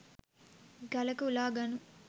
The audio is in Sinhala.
ගලක උලා ගනු